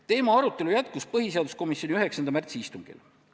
Teema arutelu jätkus põhiseaduskomisjoni 9. märtsi istungil.